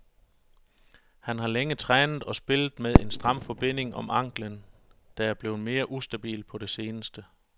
Han har længe trænet og spillet med en stram forbinding om ankelen, der er blevet mere ustabil på det seneste.